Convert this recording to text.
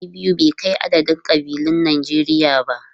Ɗari biyu bai kai adadin kabilun Najeriya ba.